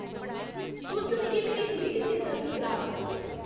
तुस मिगी मेरी उमरी दी चेता की कराऽ 'रदे ओ?